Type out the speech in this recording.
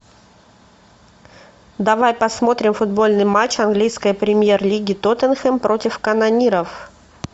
давай посмотрим футбольный матч английской премьер лиги тоттенхэм против канониров